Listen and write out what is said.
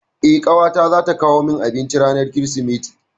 Eh, ƙawata zata kawo min abinci ranar Kirsimeti.